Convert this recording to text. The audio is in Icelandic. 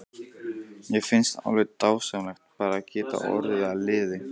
Mér finnst alveg dásamlegt bara að geta orðið að liði.